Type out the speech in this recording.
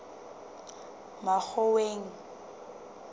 makgoweng